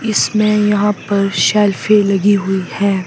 इसमें यहां पर शेल्फी लगी हुई है।